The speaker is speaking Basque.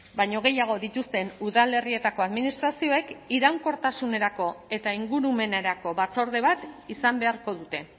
baino gehiago dituzten udalerrietako administrazioek iraunkortasunerako eta ingurumenerako batzorde bat izan beharko dute